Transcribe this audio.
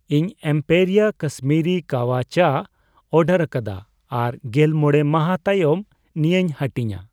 ᱤᱧ ᱮᱢᱯᱮᱨᱤᱭᱟ ᱠᱟᱥᱢᱤᱨᱤ ᱠᱟᱣᱟ ᱪᱟ ᱚᱰᱟᱨᱟᱠᱟᱫᱟ ᱟᱨ ᱜᱮᱞ ᱢᱚᱲᱮ ᱢᱟᱦᱟ ᱛᱟᱭᱚᱢ ᱱᱤᱭᱟᱹᱧ ᱦᱟᱹᱴᱤᱧᱟ ᱾